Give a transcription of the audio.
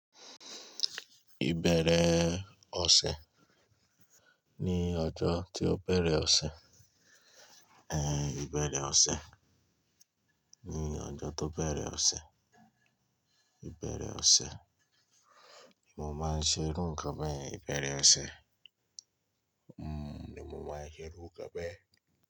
Ìbẹ̀rẹ̀ ọ̀sẹ̀ ni ọjọ́ tí ó bẹ̀rẹ̀ ọ̀sẹ̀. Ẹ̀ Ìbẹ̀rẹ̀ ọ̀sẹ̀ ni ọjọ́ tó bẹ̀rẹ̀ ọ̀sẹ̀. Ìbẹ̀rẹ̀ ọ̀sẹ̀ ni mo máa ń ṣe irú nǹkan be yen Ìbẹ̀rẹ̀ ọ̀sẹ̀ ni mo máa ń ṣe irú nǹkan bẹ́ẹ̀.